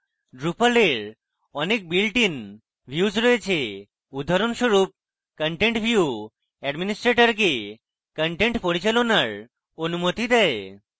drupal এর অনেক built in views রয়েছে উদাহরণস্বরূপ: content view administrators content পরিচালনার অনুমতি দেয়